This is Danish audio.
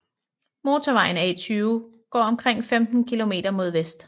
Motorvejen A 20 går omkring 15 km mod vest